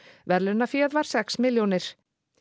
verðlaunaféð var sex milljónir